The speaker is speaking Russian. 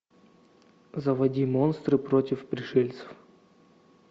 заводи монстры против пришельцев